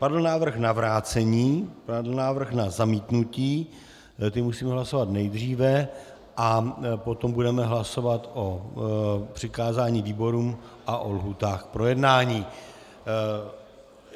Padl návrh na vrácení, padl návrh na zamítnutí, ty musíme hlasovat nejdříve, a potom budeme hlasovat o přikázání výborům a o lhůtách k projednání.